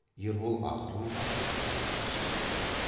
ербол ақырын басып қайтадан шығып кетті